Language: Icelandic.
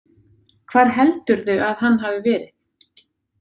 Hvar heldurðu að hann hafi verið?